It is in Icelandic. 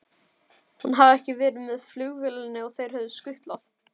Hún hafði ekki verið með flugvélinni og þeir höfðu skutlað